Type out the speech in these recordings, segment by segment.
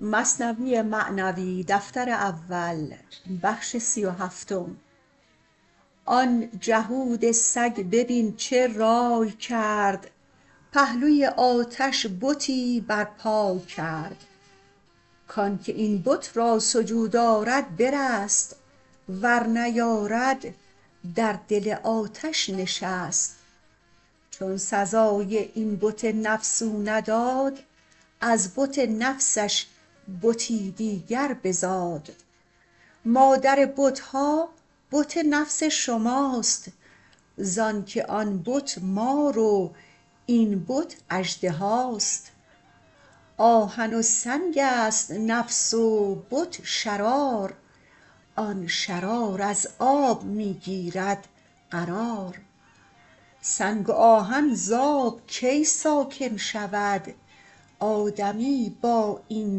آن جهود سگ ببین چه راٰی کرد پهلوی آتش بتی بر پای کرد کانکه این بت را سجود آرد برست ور نیارد در دل آتش نشست چون سزای این بت نفس او نداد از بت نفسش بتی دیگر بزاد مادر بتها بت نفس شماست زانک آن بت مار و این بت اژدهاست آهن و سنگست نفس و بت شرار آن شرار از آب می گیرد قرار سنگ و آهن زآب کی ساکن شود آدمی با این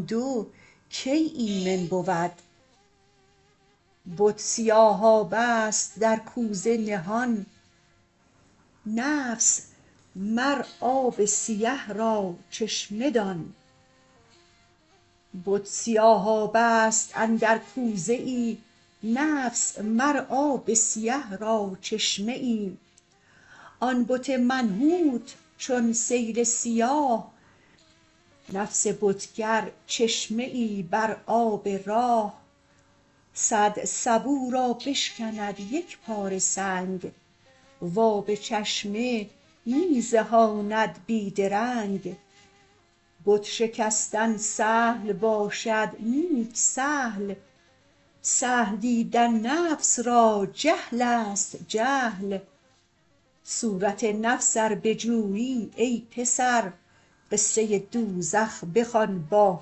دو کی ایمن بود بت سیاهابه ست در کوزه نهان نفس مر آب سیه را چشمه دان آن بت منحوت چون سیل سیاه نفس بتگر چشمه ای بر آب راه صد سبو را بشکند یکپاره سنگ و آب چشمه می زهاند بی درنگ بت شکستن سهل باشد نیک سهل سهل دیدن نفس را جهلست جهل صورت نفس ار بجویی ای پسر قصه دوزخ بخوان با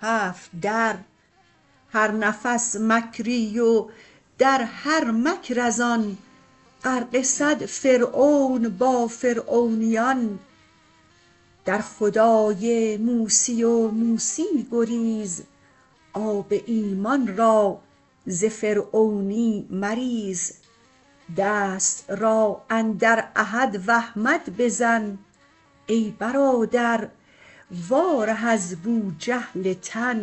هفت در هر نفس مکری و در هر مکر زان غرقه صد فرعون با فرعونیان در خدای موسی و موسی گریز آب ایمان را ز فرعونی مریز دست را اندر احد و احمد بزن ای برادر وا ره از بوجهل تن